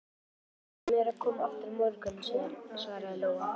Þau sögðu mér að koma aftur á morgun, svaraði Lóa.